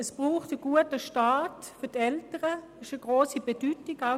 Es braucht für die Eltern einen guten Start;